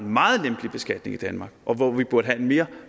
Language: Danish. meget lempelig beskatning i danmark og hvor vi burde have en mere